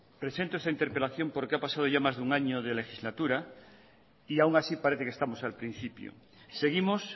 presento esta interpelación porque ha pasado ya más de un año de legislatura y aún así parece que estamos al principio seguimos